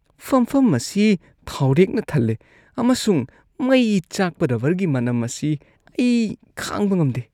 ꯐꯝꯐꯝ ꯑꯁꯤ ꯊꯥꯎꯔꯦꯛꯅ ꯊꯜꯂꯦ ꯑꯃꯁꯨꯡ ꯃꯩ ꯆꯥꯛꯄ ꯔꯕꯔꯒꯤ ꯃꯅꯝ ꯑꯁꯤ ꯑꯩ ꯈꯥꯡꯕ ꯉꯝꯗꯦ꯫